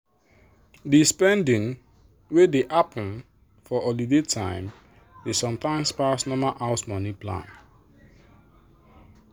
the spending wey dey happen for holiday time dey sometimes pass normal house money plan